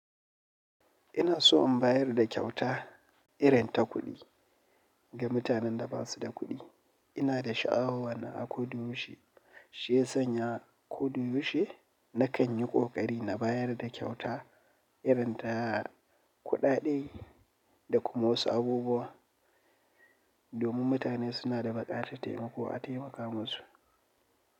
Ina so in bayar da kyauta irin ta kuɗi ga mutanen da ba su da kuɗi. Ina da sha'awa wannan a koda yaushe, shiyasan ya koda yaushe. Na kan yi ƙoƙari na bayar da kyauta irin ta ƙudade da kuma wasu abubuwa domin mutane suna da baƙatar taimako a taimaka musu.